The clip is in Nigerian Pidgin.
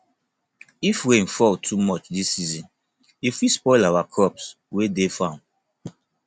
if rain fall too much dis season e fit spoil our crops wey dey farm